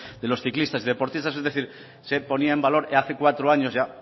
de los ciclistas y deportistas es decir se ponía en valor hace cuatro años ya